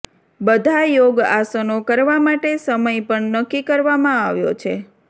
બધા યોગ આસનો કરવા માટે સમય પણ નક્કી કરવામાં આવ્યો છે